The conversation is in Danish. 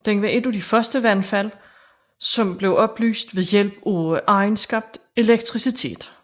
Den var et af de første vandfald som blev oplyst ved hjælp af egenskabt elektricitet